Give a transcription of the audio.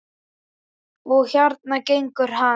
Og hérna gengur hann.